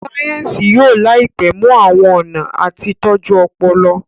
sáyẹnsì yóò láìpé mú àwọn ọnà àti tọjú Ọpọlọ.